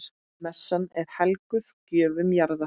Messan er helguð gjöfum jarðar.